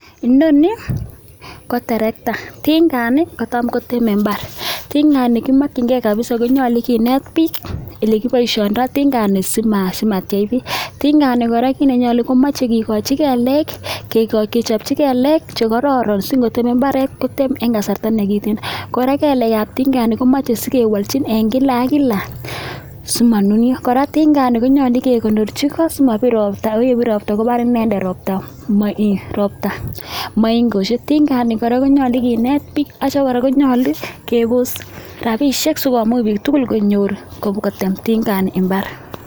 Inoni ko terekta ting'ani kotam koteme mbar, ting'ani kimokying'e kabisa konyolu kineet biik elekiboishoitoi ting'ani simatiech biik, tingani kora kiit nenyolu komoche kikochi kelek kechopchi kelek chekororon sikotem imbaret kotem en kasarta nekiten kkora kelekab ting'ani komoche sikewolchin en kila ak kila simonunio, kora ting'ani konyolu kekonorchi koo simobir robta ko yebir robta kobar inendet robta moo robta moingoshek, tingani kora konyolu kinet biik akitio kora konyolu kebos rabishek sikomuch biik tukul konyor kotem ting'ani imbar.